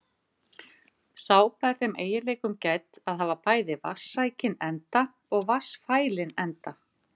Sápa er þeim eiginleikum gædd að hafa bæði vatnssækinn enda og vatnsfælinn enda.